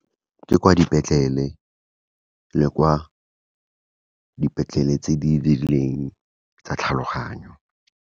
Ke kwa dipetlele, le kwa dipetlele tse di rileng tsa tlhaloganyo.